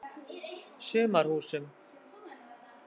Sumarhúsum